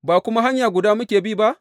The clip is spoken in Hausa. Ba kuma hanya guda muka bi ba?